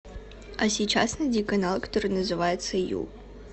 а сейчас найди канал который называется ю